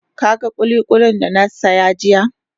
Ka gan kulikuli da na saya jiya?